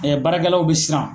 baarakɛlaw bi siran.